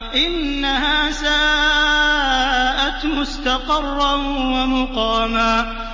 إِنَّهَا سَاءَتْ مُسْتَقَرًّا وَمُقَامًا